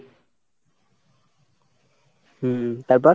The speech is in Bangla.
হম তারপর?